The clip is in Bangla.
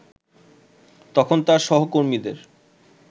তখন তার সহকর্মীদের